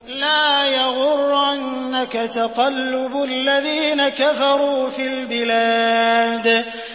لَا يَغُرَّنَّكَ تَقَلُّبُ الَّذِينَ كَفَرُوا فِي الْبِلَادِ